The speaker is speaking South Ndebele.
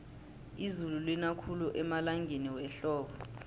izulu lina khulu emalangeni wehlobo